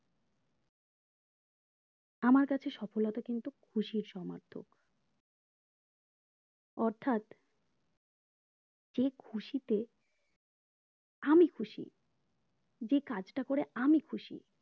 আমার কাছে সফলতা কিন্তু খুশির সমর্থ মাত্র অর্থাৎ যে খুশিতে আমি খুশি যে কাজটা করে আমি খুশি